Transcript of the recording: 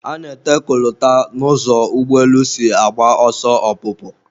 A na-ete kolota n'ụzọ ụgbọelu si agba ọsọ ọpụpụ